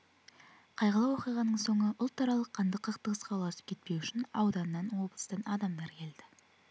қайғылы оқиғаның соңы ұлтаралық қанды қақтығысқа ұласып кетпеу үшін ауданнан облыстан адамдар келді